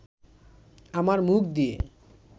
আমার মুখ দিয়ে